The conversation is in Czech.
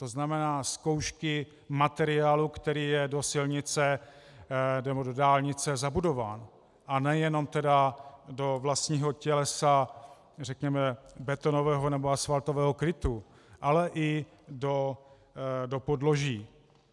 To znamená zkoušky materiálu, který je do silnice nebo do dálnice zabudován, a nejenom tedy do vlastního tělesa řekněme betonového nebo asfaltového krytu, ale i do podloží.